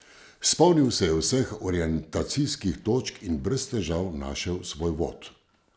Spomnil se je vseh orientacijskih točk in brez težav našel svoj vod.